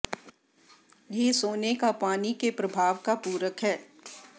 यह सोने का पानी के प्रभाव का पूरक है